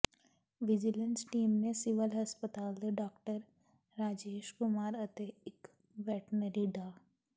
vigilance team ਨੇ civil ਹਸਪਤਾਲ ਦੇ ਡਾਕਟਰ ਰਾਜੇਸ਼ ਕੁਮਾਰ ਅਤੇ ਇੱਕ ਵੈਟਨਰੀ ਡਾ